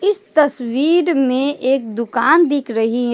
इस तस्वीर में एक दुकान दिक रही है।